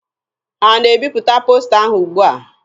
Ha na-ebipụta posta ahụ ugbua?